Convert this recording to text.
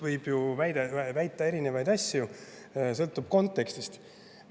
Võib ju väita erinevaid asju, sõltuvad kontekstist.